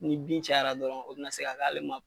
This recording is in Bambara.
Ni bin cayara dɔrɔn o bi na se ka k'ale ma